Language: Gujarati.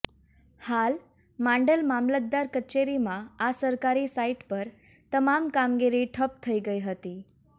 હાલ માંડલ મામલતદાર કચેરીમાં આ સરકારી સાઈટ પર તમામ કામગીરી ઠપ્પ થઈ ગઈ હતી